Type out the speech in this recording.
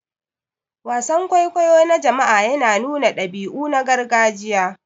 Wasan kwaikwayo na jama'a yana nuna dabi'u na gargajiya.